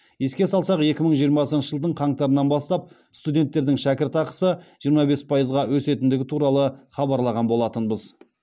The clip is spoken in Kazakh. еске салсақ екі мың жиырмасыншы жылдың қаңтарынан бастап студенттердің шәкірақысы жиырма бес пайызға өсетіндігі туралы хабарлаған болатынбыз